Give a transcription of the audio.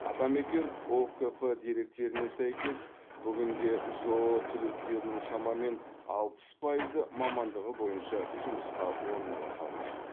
атамекен ұкп деректеріне сәйкес бүгінде жоо түлектерінің шамамен алпыс пайызы мамандығы бойынша жұмысқа орналаса алмайды